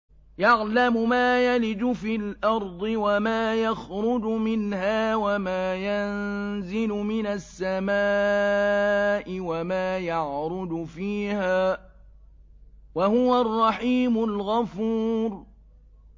يَعْلَمُ مَا يَلِجُ فِي الْأَرْضِ وَمَا يَخْرُجُ مِنْهَا وَمَا يَنزِلُ مِنَ السَّمَاءِ وَمَا يَعْرُجُ فِيهَا ۚ وَهُوَ الرَّحِيمُ الْغَفُورُ